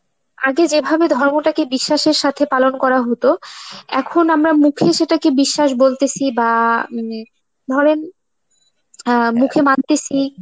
আগে যেভাবে ধর্মতাকে বিশ্বাসের সাথে পালন করা হতো, এখন আমরা মুখে সেটাকে বিশ্বাস বলতেসি বা উম ধরেন অ্যাঁ মুখে মানতেসি